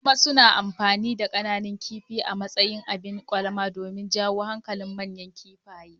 Kuma suna amfani da kananan kifi a matsayin abin kwalama domin jawo hankalin manyan kifaye.